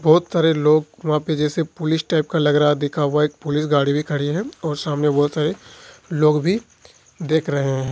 बहुत सारे लोग वहां पर जैसे पुलिस टाइप का लग रहा है लिखा हुआ एक पुलिस गाड़ी भी खड़ी है और सामने बहुत सारे लोग भी देख रहे हैं।